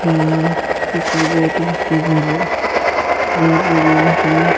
کچھ لوگ بہت سستے دمو مے مچھلی لے رہی ہیں-